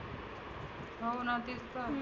हो ना तेच तर.